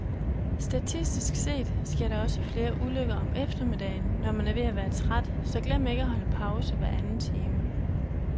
Statistisk set sker der også flere ulykker om eftermiddagen, når man er ved at være træt, så glem ikke at holde pause hveranden time.